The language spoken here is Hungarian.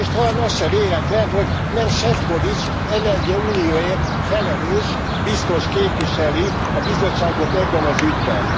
És talán az se véletlen, hogy nem Šefčovič energiaunióért felelős biztos képviseli a Bizottságot ebben az ügyben.